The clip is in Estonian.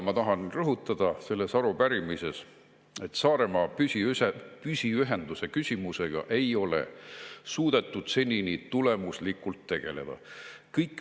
Ma tahan rõhutada selles arupärimises, et Saaremaa püsiühenduse küsimusega ei ole suudetud senini tulemuslikult tegeleda.